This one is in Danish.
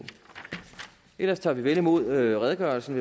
ellers tager vi vel imod redegørelsen